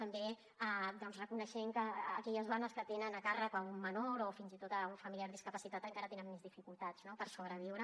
també reconeixent que aquelles dones que tenen a càrrec un menor o fins i tot un familiar discapacitat encara tenen més dificultats per sobreviure